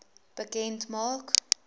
bekend maak